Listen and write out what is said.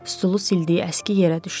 Stulu sildiyi əski yerə düşdü.